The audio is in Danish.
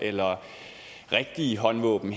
eller rigtige håndvåben